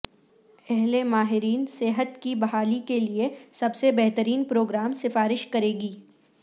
اہل ماہرین صحت کی بحالی کے لئے سب سے بہترین پروگرام سفارش کرے گی